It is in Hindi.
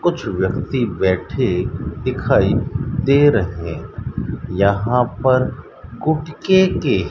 कुछ व्यक्ति बैठे दिखाई दे रहे यहां पर गुटके के --